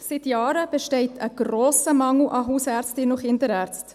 Seit Jahren besteht ein grosser Mangel an Hausärztinnen und Kinderärzten.